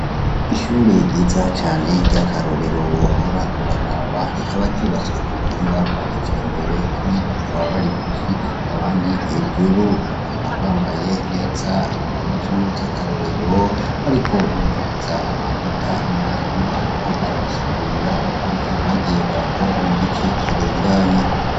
Ishure ryiza cane ryakarorero wohora uraraba ,rikaba ryubatswe kubuhinga bwa kijambere, bamwe bakaba bari musi abandi hejuru, bakaba bambaye neze impuzu zakarorero bariko bumviriza amanota, umwarimu ariko arabasigurira ukuntu bagiye barakora mu gice kirenganye.